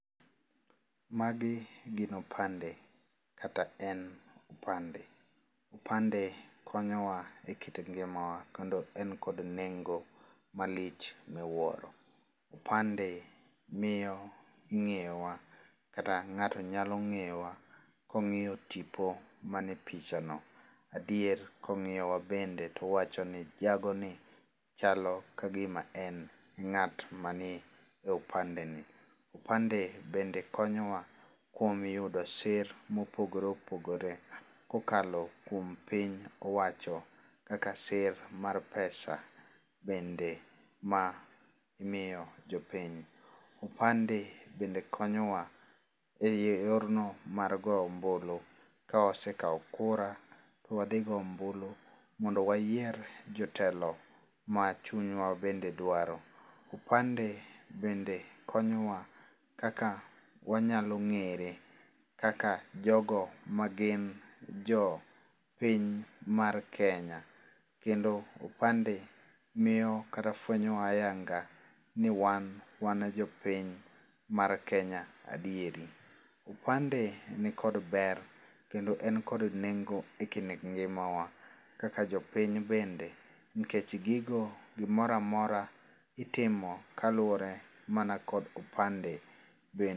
Magi gin opande kata en upande. Upande konyo wa e kit ngima wa kendo en kod nengo malich miwuoro. Upande miyo ing'eyo wa kata ng'ato nyalo ng'eyo wa kong'iyo tipo ma nie picha no. Adier kong'iyo wa bende towacho ni jago ni chalo kagima en ng'at ma ni e opande ni. Opande bende konyo wa kuom yudo sir mopogore opogore kokalo kuom Piny owacho kaka sir mar pesa bende mamiyo jopiny. Opande bende konyowa e yor no mar goyo ombulu. Ka wasekao kura to wadhi goyo ombulu mondo wayier jotelo ma chunywa bende dwaro. Opande bende konyowa kaka wanyalo ng'ere kaka jogo ma gin jopiny mar Kenya. Kendo upande miyo kata fwenyo wa ayanga ni wan wan jo piny mar Kenya adieri. Upande ni kod ber kendo en kod nengo e kind ngima wa kaka jopiny bende, nikech gigo gimoramora itimo kaluwore mana kod upande.